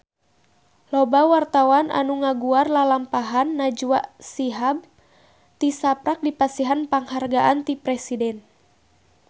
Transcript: Loba wartawan anu ngaguar lalampahan Najwa Shihab tisaprak dipasihan panghargaan ti Presiden